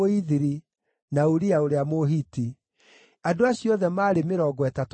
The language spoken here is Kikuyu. na Uria ũrĩa Mũhiti. Andũ acio othe maarĩ mĩrongo ĩtatũ na mũgwanja.